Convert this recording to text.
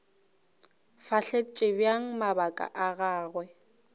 fahletše bjang mabaka a gagwe